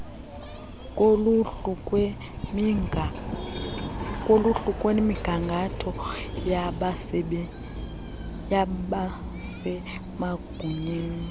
koluhlu lwemigangatho yabasemagunyeni